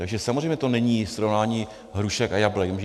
Takže samozřejmě to není srovnání hrušek a jablek.